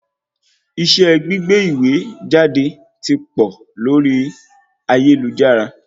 Iṣẹ́ gbígbé ìwé jáde ti pọ̀ lórí ayélujára